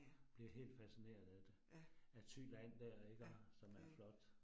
Bliver helt fascineret af det. Af Thyland dér iggå, som er flot